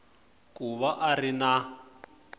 ku va a ri na